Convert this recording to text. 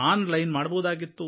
on line ಮಾಡಬಹುದಾಗಿತ್ತು